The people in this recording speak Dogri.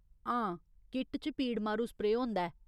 हां, किट च पीड़ मारू स्प्रेऽ होंदा ऐ।